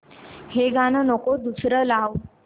हे गाणं नको दुसरं लाव